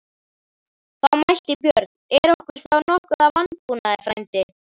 Þá mælti Björn: Er okkur þá nokkuð að vanbúnaði, frændi?